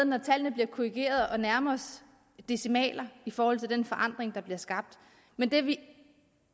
når tallene bliver korrigeret at nærme os decimaler i forhold til den forandring der bliver skabt men det vi